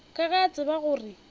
ka ge o tseba gore